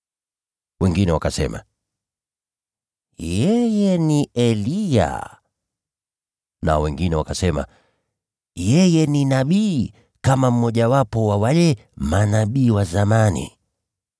Wengine wakasema, “Yeye ni Eliya.” Nao wengine wakasema, “Yeye ni nabii, kama mmojawapo wa wale manabii wa zamani.”